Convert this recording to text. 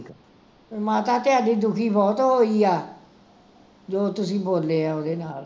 ਮਾਤਾ ਤੁਹਾਡੀ ਦੁਖੀ ਬਹੁਤ ਹੋਈ ਆ ਜੋ ਤੁਸੀਂ ਬੋਲੇ ਆ ਓਹਦੇ ਨਾਲ